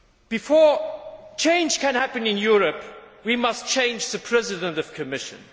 Before change can happen in Europe we must change the President of the Commission.